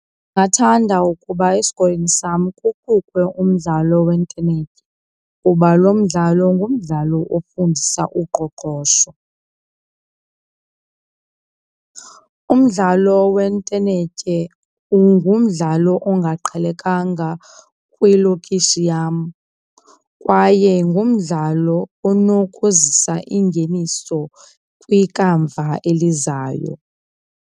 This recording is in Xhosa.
Ndingathanda ukuba esikolweni sam kuqukwe umdlalo wentenetya kuba lo mdlalo ngumdlalo ofundisa uqoqosho. Umdlalo wentenetye ungumdlalo ongaqhelekanga kwilokishi yam kwaye ngumdlalo unokuzisa ingeniso kwikamva elizayo.